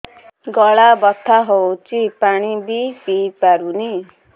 ଗଳା ବଥା ହଉଚି ପାଣି ବି ପିଇ ପାରୁନି